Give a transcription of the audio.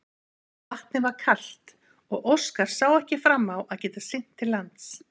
Vatnið var kalt og Óskar sá ekki fram á að geta synt til lands.